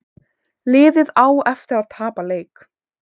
Liðið á eftir að tapa leik